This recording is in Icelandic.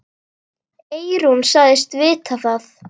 Eyrún sagðist vita það.